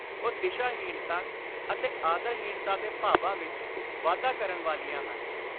ਉਹ ਦਿਸ਼ਾ-ਹੀਣਤਾ ਅਤੇ ਆਦਰ-ਹੀਣਤਾ ਦੇ ਭਾਵਾਂ ਵਿਚ ਵਾਧਾ ਕਰਨ ਵਾਲੀਆਂ ਹਨ।